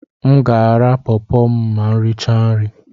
Aga m ara pọọpo ma m richaa nri.